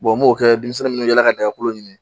n m'o kɛ denmisɛnnin minnu yaala ka dagakolo ɲini